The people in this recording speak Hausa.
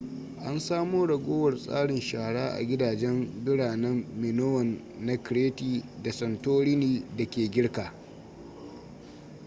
an samo ragowar tsarin shara a gidajen biranen minoan na crete da santorini da ke girka